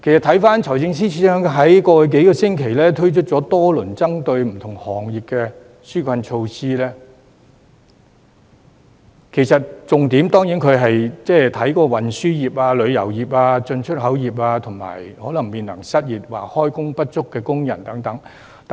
回看財政司司長在過往數星期推出多項針對不同行業的紓困措施，其重點對象當然是運輸業、旅遊業、進出口業及面臨失業或開工不足的工人等。